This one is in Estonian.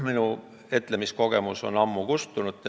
Minu etlemiskogemused on ammu kustunud.